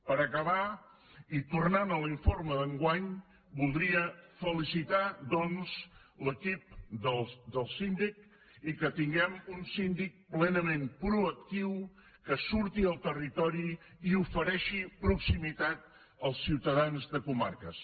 per acabar i tornant a l’informe d’enguany voldria felicitar doncs l’equip del síndic i que tinguem un síndic plenament proactiu que surti al territori i ofereixi proximitat als ciutadans de comarques